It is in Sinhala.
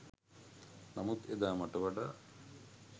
නමුත් එදා මට වඩා